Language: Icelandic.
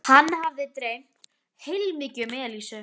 Hann hafði dreymt heilmikið um Elísu.